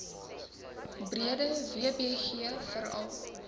breede wbg veral